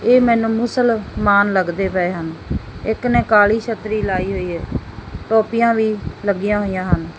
ਇਹ ਮੈਨੂੰ ਮੁਸਲਮਾਨ ਲੱਗਦੇ ਪਏ ਹਨ ਇੱਕ ਨੇ ਕਾਲੀ ਛਤਰੀ ਲਾਈ ਹੋਈ ਹੈ ਟੋਪੀਆਂ ਵੀ ਲੱਗੀਆਂ ਹੋਈਆਂ ਹਨ।